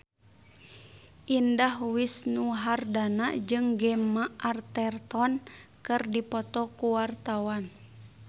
Indah Wisnuwardana jeung Gemma Arterton keur dipoto ku wartawan